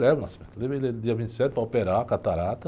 Eu levo, levei dia vinte e sete para operar a catarata.